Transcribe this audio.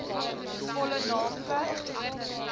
volle naam plek